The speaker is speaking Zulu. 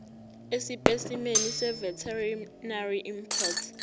esipesimeni seveterinary import